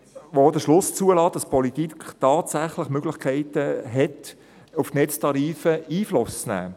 Sie lässt auch den Schluss zu, dass die Politik tatsächlich Möglichkeiten hat, auf die Netztarife Einfluss zu nehmen.